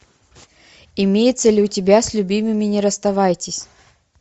имеется ли у тебя с любимыми не расставайтесь